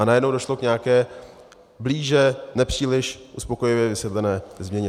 A najednou došlo k nějaké blíže nepříliš uspokojivě vysvětlené změně.